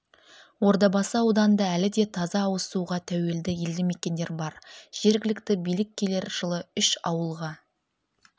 ордабасы ауданында әлі де таза ауызсуға тәуелді елді мекендер бар жергілікті билік келер жылы үш ауылға